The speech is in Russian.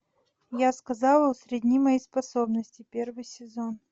я сказала усредни мои способности первый сезон